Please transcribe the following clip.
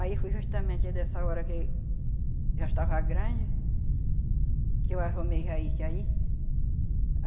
Aí foi justamente dessa hora que já estava grande, que eu arrumei já isso aí.